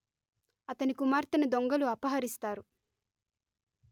అతని కుమార్తెను దొంగలు అపహరిస్తారు